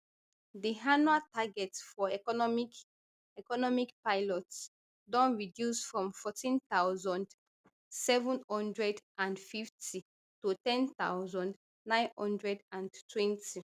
di annual target for economic economic pilots don reduce from fourteen thousand, seven hundred and fifty to ten thousand, nine hundred and twenty